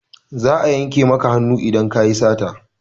Za a yanke maka hannu idan ka yi sata.